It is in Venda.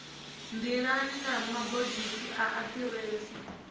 nḓilani na mabogisi a aḓirese